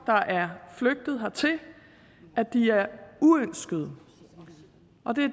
der er flygtet hertil at de er uønskede